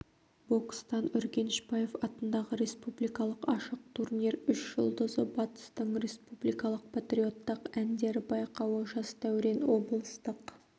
бокстан үргенішбаев атындағы республикалық ашық турнир үш жұлдызы батыстың республикалық патриоттық әндер байқауы жас дәурен облыстық